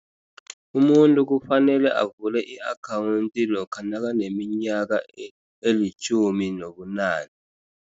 Umuntu kufanele avule i-account lokha nakaneminyaka elitjhumi nobunane.